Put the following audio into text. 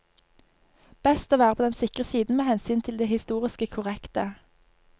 Best å være på den sikre siden med hensyn til det historisk korrekte.